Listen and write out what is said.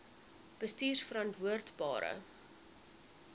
bestuurverantwoordbare